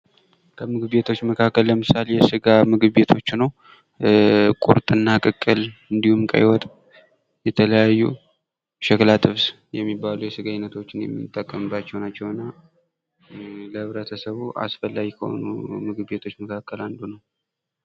ከምግብ ቤቶች መካከል ለምሳሌ የስጋ ምግብ ቤቶች ነው። ቁርጥና ቅቅል እንዲሁም ቀይ ወጥ የተለያዩ ሸክላ ጥብስ የሚባሉ የስጋ ይነቶችን የምንጠቀምባቸው ናቸውና ለህብረተሰቡ አስፈላጊ ከሆኑ ምግብ ቤቶች መካከል አንዱ ነው።